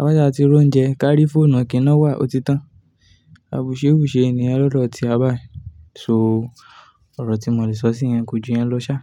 Áṣàà ti roúnjẹ, kárí fónù kí nà wà, ó ti tán. Àbùsẹ́bùsẹ́ niyen lọ́dọ̀ ti wa bá. So, ọ̀rọ̀ tí mo lè sọ sí yẹn ko ju yẹn lọ sá.